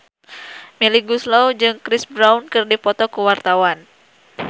Melly Goeslaw jeung Chris Brown keur dipoto ku wartawan